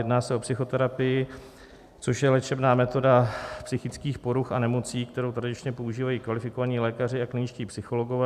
Jedná se o psychoterapii, což je léčebná metoda psychických poruch a nemocí, kterou tradičně používají kvalifikovaní lékaři a kliničtí psychologové.